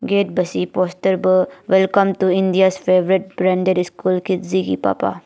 gate bvsi poster bvh welcome to india favorite branded school lipa pah.